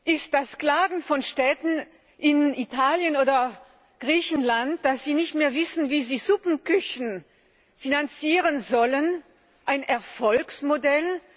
Ist das Klagen von Städten in Italien oder Griechenland, dass sie nicht mehr wissen, wie sie Suppenküchen finanzieren sollen, ein Erfolgsmodell?